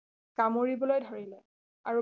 কামোৰিবলৈ ধৰিলে আৰু